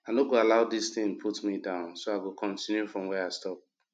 i no go allow dis thing put me down so i go continue from where i stop